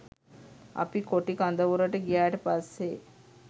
අපි කොටි කඳවුරට ගියාට පස්සේ